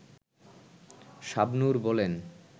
শাবনূর বলেন